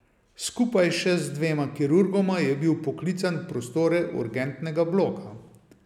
Skupaj še z dvema kirurgoma je bil poklican v prostore urgentnega bloka.